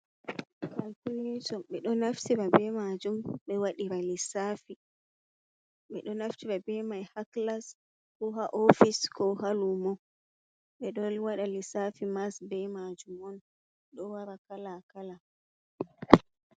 Kalkuleto ɓe ɗo naftirabe majum ɓe waɗira lissafi ɓeɗo naftira be mai ha kilas, ko ha ofice, ko ha lumo ɓe ɗowaɗa lissafi mass be majum on ɗo wara kala - kala.